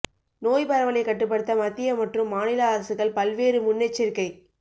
நோய் பரவலை கட்டுப்படுத்த மத்திய மற்றும் மாநில அரசுகள் பல்வேறு முன்னெச்சரிக்கை